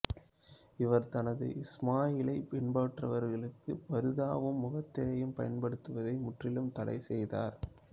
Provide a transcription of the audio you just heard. இவர் தனது இஸ்மாயிலியை பின்பற்றுபவர்களுக்கு பர்தாவும் முகத்திரையையும் பயன்படுத்துவதை முற்றிலுமாக தடை செய்தார்